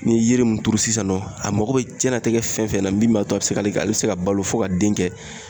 Ni ye yiri mun turu sisan nɔ, a mako be jiyɛnnatigɛ fɛn fɛn na min b'a to a be se ka ale se ka balo fo ka den kɛ